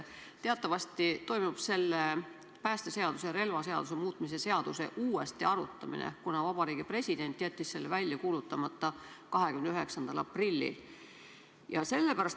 Teatavasti toimub selle päästeseaduse ja relvaseaduse muutmise seaduse uuesti arutamine seepärast, et Vabariigi President jättis selle 29. aprillil välja kuulutamata.